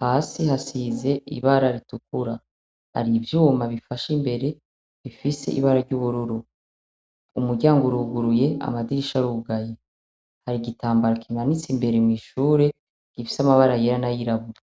hasi hasize ibara ritukura hari ivyuma bifashe imbere bifise ibara ry'ubururu. Umuryango uruguruye amadirisha arugaye. Hari igitambara kimanitse imbere mw'ishure gifise amabara yera n'ayirabura.